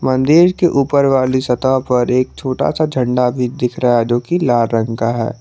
मंदिर के ऊपर वाली सतह पर एक छोटा सा झंडा भी दिख रहा है जो की लाल रंग का है।